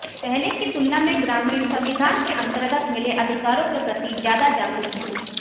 पहले की तुलना में ग्रामीण संविधान के अंतर्गत मिले अधिकारों के प्रति ज्यादा जागरूक हैं